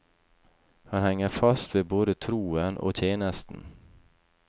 Han henger fast ved både troen og tjenesten.